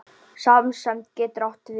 Samsemd getur átt við